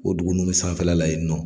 O dugu ninnu bɛ sanfɛla la yen nɔ